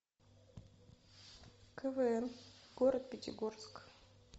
квн город пятигорск